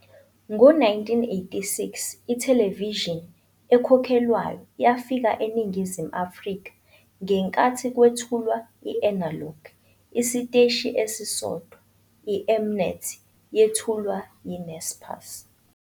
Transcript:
Ngo-1986 ithelevishini ekhokhelwayo yafika eNingizimu Afrika ngenkathi kwethulwa i-analogue, isiteshi esisodwa, iM-Net, yethulwa yiNaspers.